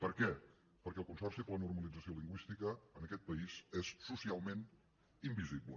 per què perquè el consorci per a la normalització lingüística en aquest país és socialment invisible